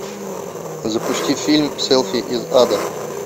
запусти фильм селфи из ада